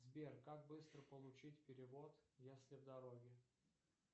сбер как быстро получить перевод если в дороге